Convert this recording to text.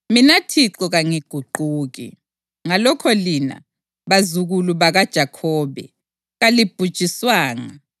“Mina Thixo kangiguquki. Ngalokho lina, bazukulu bakaJakhobe, kalibhujiswanga.